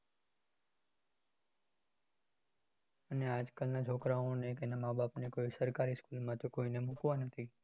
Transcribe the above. મેં પણ સરકારી school માં જ અભ્યાસ કર્યો છે મારા પ્રમાણે તો સરકારી school જ best છે ત્યાં ત્યાં ઘણું બધું સીખવા મળે private university કરતા private college કરતા private school કરતા